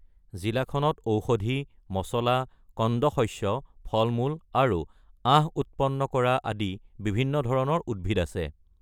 জিলাখনত ঔষধি, মছলা, কন্দ শস্য, ফল-মূল আৰু আঁহ উৎপন্ন কৰা আদি বিভিন্ন ধৰণৰ উদ্ভিদ আছে।